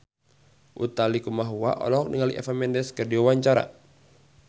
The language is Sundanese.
Utha Likumahua olohok ningali Eva Mendes keur diwawancara